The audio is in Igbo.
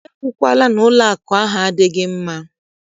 E kwukwala na ụlọakụ ahụ adịghị mma!